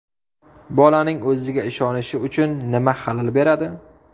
Bolaning o‘ziga ishonishi uchun nima xalal beradi?.